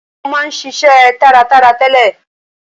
Ó ma ń ṣiṣe taratara tẹ́lẹ̀.